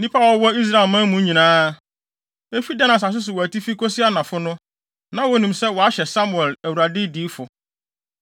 Nnipa a wɔwɔ Israelman mu nyinaa, efi Dan asase wɔ atifi kosi anafo no, na wonim sɛ wɔahyɛ Samuel Awurade diyifo.